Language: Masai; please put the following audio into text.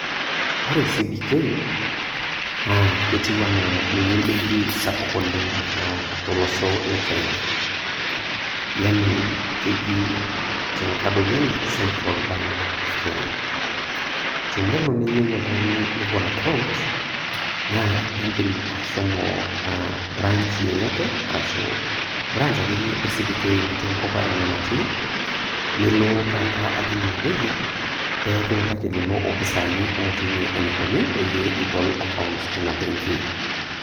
Ore CBK naa ketiiu anaa ninye embenki sapuk oleng' tolosho le Kenya, Yani keji tenkadori enye central bank of Kenya. Telnelo neyou oltung'ani nebol akaount naa indim ashomo branch yeyote ashuu branch ake iyie natii enkop natii, nilo taata ajing' ine wueji pee kiutaki lelo opisani otii ine eneikuni peyie ebol akaount teina benki.